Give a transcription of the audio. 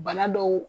Bana dɔw